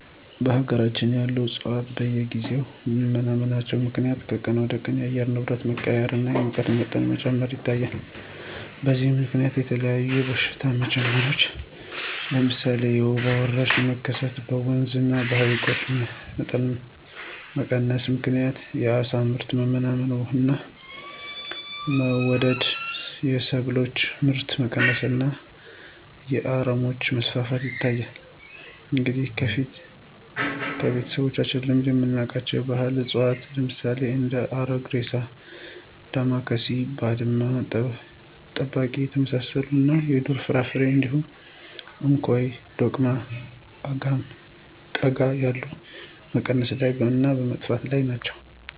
በሀገራችን ያሉ ዕፅዋት በየጊዜው በመመናመናቸው ምክንያት ከቀን ወደቀን የአየር ንብረት መቀያየር እና የሙቀት መጨመር ይታያል። በዚህም ምከንያት የተለያዩ በሽታዎች መጨመር ለምሳሌ የወባ ወረርሽኝ መከሰት፣ በወንዞች እና በሀይቆች መቀነስ ምክንያት የአሳ ምርት መመናመን እና መወደድ፣ የሰብሎች ምርት መቀነስ እና የአረሞች መስፋፋት ይታያል። እንዲሁም በፊት ከቤተሰቦቻችን በልምድ የምናውቃቸው ባህላዊ እፅዋት ለምሳሌ እንደ አረግሬሳ፣ ዳማካሴ፣ ባድማ ጠባቂ የመሳሰሉት እና የዱር ፍራፍሬዎች እንደ እንኮይ፣ ዶቅማ፣ አጋም፣ ቀጋ ያሉት በመቀነስ እና በመጥፋት ላይ ናቸው።